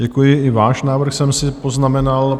Děkuji, i váš návrh jsem si poznamenal.